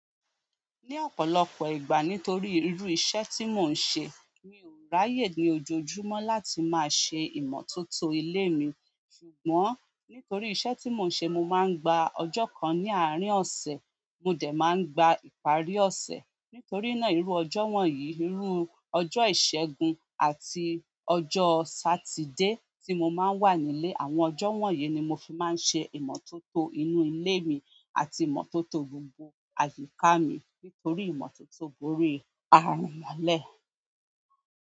Ní ọ̀pọ̀lọpọ̀ ìgbà nítorí irú iṣẹ́ tí mò ń ṣe, mi ò ráyè ní ojojúmọ́ láti máa ṣe ìmọ̀tótó ilé mi. Ṣùgbọ́n nítorí iṣẹ́ tí mò ń ṣe, mo máa ń gba ọjọ́ kan ní àárín ọ̀sẹ̀, mo dẹ̀ máa ń gba ìparí ọ̀sẹ̀. Nítorí náà, irú ọjọ́ wọ̀nyí, irú ọjọ́ ìṣẹ́gun àti ọjọ́ Satide tí mo máa ń wà nílé, àwọn ọjọ́ wọ̀nyí ni mo fi máa ń ṣe ìmọ̀tótó inú ilé mi àti ìmọ̀tótó gbogbo àyíká mi. Nítorí ìmọ́tótó bori àrùn mọlẹ.